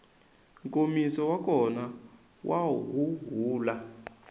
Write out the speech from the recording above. nkomiso wa kona wa huhula